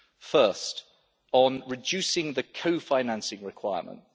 First, on reducing the co financing requirement.